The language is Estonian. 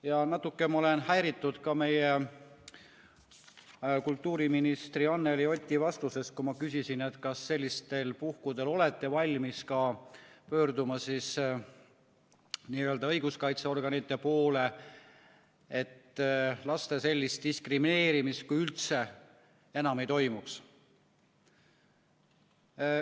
Ja natuke ma olen häiritud ka meie kultuuriministri Anneli Oti vastusest, kui ma küsisin, kas sellistel puhkudel olete valmis ka pöörduma õiguskaitseorganite poole, et laste sellist diskrimineerimist enam ei toimuks.